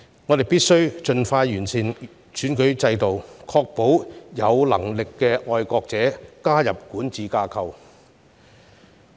我們必須盡快完善選舉制度，確保有能力的愛國者加入管治架構。